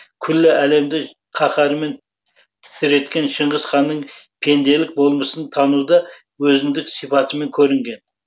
күллі әлемді қаһарымен тітіреткен шыңғыс ханның пенделік болмысын тануда өзіндік сипатымен көрінген